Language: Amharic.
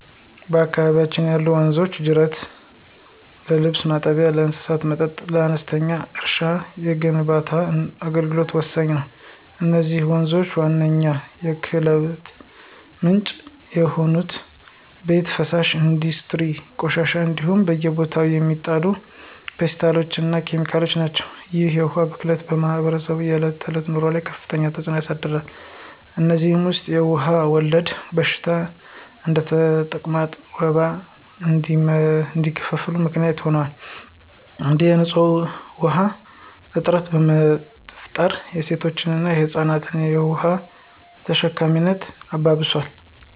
በአካባቢያችን ያሉ ወንዞችና ጅረቶች ለልብስ ማጠቢያ፣ ለእንስሳት መጠጥ፣ ለአነስተኛ እርሻና ለግንባታ አገልግሎት ወሳኝ ናቸው። የነዚህ ወንዞች ዋነኛው የብክለት ምንጭ የቤት ውስጥ ፍሳሽ፣ የኢንዱስትሪ ቆሻሻዎች እንዲሁም በየቦታው የሚጣሉ ፕላስቲኮችና ኬሚካሎች ናቸው። ይህ የውሃ ብክለት በማኅበረሰቡ የዕለት ተዕለት ኑሮ ላይ ከፍተኛ ተጽዕኖ አሳድሯል። ከእነዚህም ውስጥ የውሃ ወለድ በሽታዎች እንደ ተቅማጥና ወባ እንዲስፋፋ ምክንያት ሆኗል እንዲሁም የንፁህ ውሃ እጥረት በመፍጠር የሴቶችንና የህፃናትን የውሃ ተሸካሚነት አባብሷል።